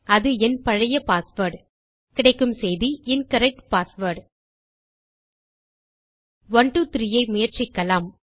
அது என பழைய பாஸ்வேர்ட் கிடைக்கும் செய்தி இன்கரெக்ட் பாஸ்வேர்ட் 123 ஐ முயற்சிக்கலாம்